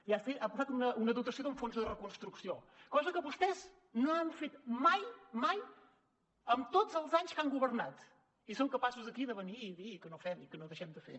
ja ha posat una dotació d’un fons de reconstrucció cosa que vostès no han fet mai mai en tots els anys que han governat i són capaços aquí de venir i dir que no fem i que no deixem de fer